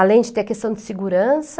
Além de ter a questão de segurança.